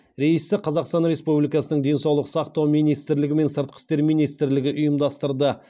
рейсті қазақстан республикасының денсаулық сақтау министрлігі мен сыртқы істер министрлігі ұйымдастырды